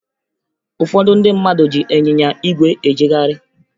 Ụfọdụ ndị mmadụ ji ịnyịnya ígwè ejegharị